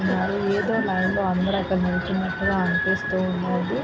ఏదో లైన్ లో అందరూ అక్కడ నిల్చున్నట్లుగా అనిపిస్తూ ఉన్నాది.